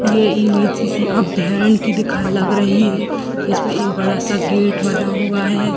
ये इमेज किसी अभ्यरण की दिख लग रही है जिसमे एक बड़ा-सा गेट बना हुआ है।